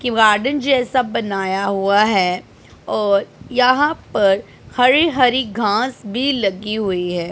कि वार्डन जैसा बनाया हुआ है और यहां पर हरी हरी घांस भी लगी हुई है।